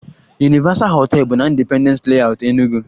Universal hotel bụ na Independence Layout, Enug